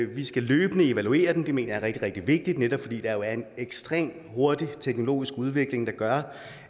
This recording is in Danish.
vi skal løbende evaluere den det mener jeg er rigtig rigtig vigtigt netop fordi der jo er en ekstremt hurtigt teknologisk udvikling der gør